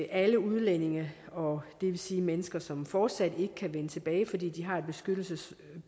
alle udlændinge og det vil sige mennesker som fortsat ikke kan vende tilbage fordi de har